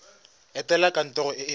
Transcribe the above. etela kantoro e e gaufi